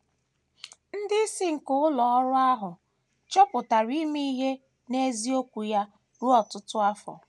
Ndị isi nke ụlọ ọrụ ahụ chọpụtara ime ihe n’eziokwu ya ruo ọtụtụ afọ.